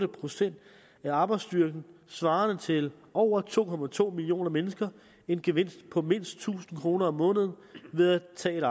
procent af arbejdsstyrken svarende til over to to millioner mennesker en gevinst på mindst tusind kroner om måneden ved at